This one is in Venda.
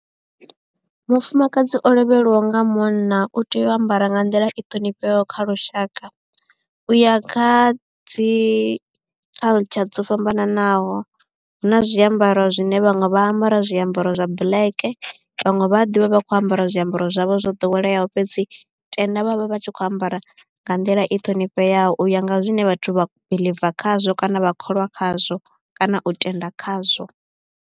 Mufumakadzi o lovheliwaho nga munna u tea u ambara nga nḓila i ṱhonifheaho kha lushaka u ya kha dzi culture dzo fhambananaho hu na zwiambaro zwine vhaṅwe vha ambara zwiambaro zwa black. Vhaṅwe vha ḓivha vha kho ambara zwiambaro zwavho zwo ḓoweleaho fhedzi tenda vhavha vhatshi kho ambara nga nḓila i ṱhonifheaho u ya nga zwine vhathu vha biḽiva khazwo kana vha kholwa khazwo kana u tenda khazwo.